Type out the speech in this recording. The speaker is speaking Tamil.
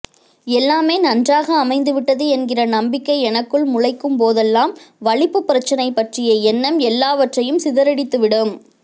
எல்லாமே நன்றாக அமைந்து விட்டது என்கிற நம்பிக்கை எனக்குள் முளைக்கும்போதெல்லாம் வலிப்பு பிரச்னை பற்றிய எண்ணம் எல்லாவற்றையும் சிதறடித்து விடும்